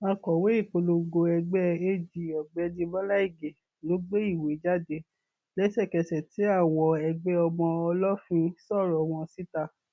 akọwé ìpolongo ẹgbẹ ag ọgbẹni bọlá ige ló gbé ìwé jáde lẹsẹkẹsẹ tí àwọn ẹgbẹ ọmọ ọlọfín sọrọ wọn síta